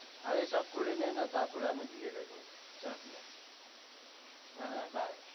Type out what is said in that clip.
আরে সব করে নে না তারপরে আমি দিয়ে দেবো চাপ নেই। হ্যাঁ হ্যাঁ Bye